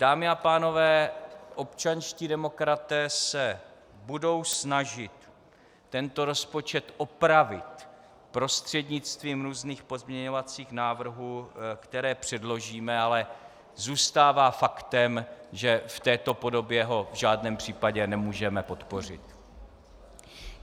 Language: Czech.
Dámy a pánové, občanští demokraté se budou snažit tento rozpočet opravit prostřednictvím různých pozměňovacích návrhů, které předložíme, ale zůstává faktem, že v této podobě ho v žádném případě nemůžeme podpořit.